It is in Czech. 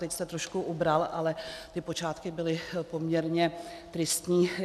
Teď jste trošku ubral, ale ty počátky byly poměrně tristní.